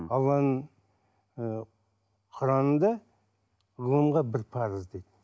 алланың ы құранында ғылымға бір парыз дейді